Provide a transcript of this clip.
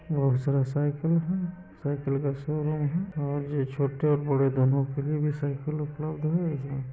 बहुत सारा साइकिल है। साइकिल का शोरूम है और ये छोटे और बड़े दोनों के लिए भी साइकिल उपलब्ध है एजा।